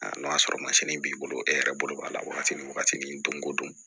Aa n'o y'a sɔrɔ mansin b'i bolo e yɛrɛ bolo b'a la wagati min wagati min don o don